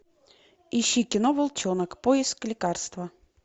ищи кино волчонок поиск лекарства